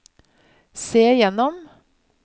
se gjennom